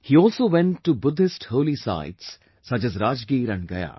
He also went to Buddhist holy sites such as Rajgir and Gaya